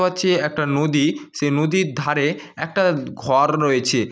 অচে একটা নদী। সেই নদীর ধারে একটা উম ঘর রয়েছে।